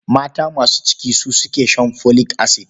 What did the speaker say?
Mata masu ciki su suke shan folic acid.